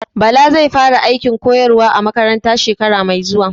Bala zai fara aikin koyarwa a makaranta shekara mai zuwa